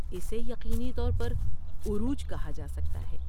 اسے یقینی طور پر عروج کہا جا سکتا ہے۔